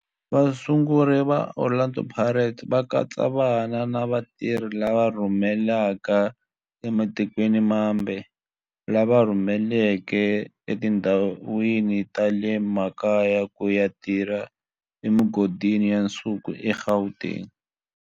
Vasunguri va Orlando Pirates va katsa vana va vatirhi lava rhurhelaka ematikweni mambe lava rhurheleke etindhawini ta le makaya ku ya tirha emigodini ya nsuku eGauteng.